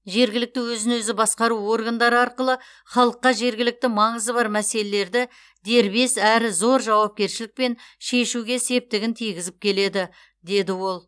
жергілікті өзін өзі басқару органдары арқылы халыққа жергілікті маңызы бар мәселелерді дербес әрі зор жауапкершілікпен шешуге септігін тигізіп келеді деді ол